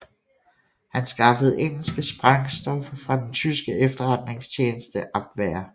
Han skaffede engelske sprængstoffer fra den tyske efterretningstjeneste Abwehr